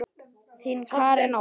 Þín, Karen Ósk.